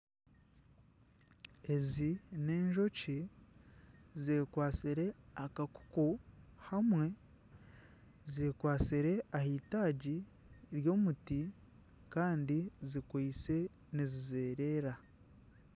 Ezi n'enjoki zekwatsire akakuku kamwe. Zekwatsire ahaitaagi ry'omuti kandi zikwitse nizizereera.